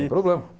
Sem problema.